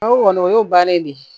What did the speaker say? O kɔni o y'o bannen de ye